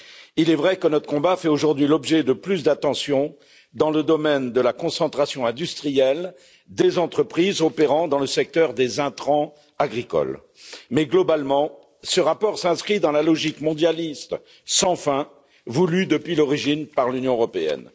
Il est vrai que notre combat fait aujourd'hui l'objet de plus d'attention dans le domaine de la concentration industrielle des entreprises opérant dans le secteur des intrants agricoles mais, globalement, ce rapport s'inscrit dans la logique mondialiste sans fin voulue depuis l'origine par l'Union européenne.